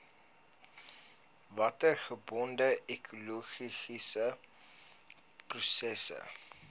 watergebonde ekologiese prosesse